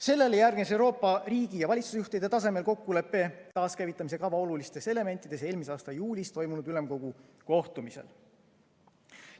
Sellele järgnes Euroopa riigi ja valitsusjuhtide tasemel kokkulepe taaskäivitamise kava olulistes elementides eelmise aasta juulis toimunud ülemkogu kohtumisel.